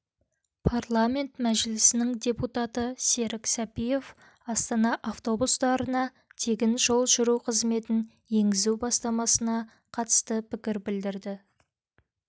парламент мәжілісінің депутаты серік сәпиев астана автобустарына тегін жол жүру қызметін енгізу бастамасына қатысты пікір білдірді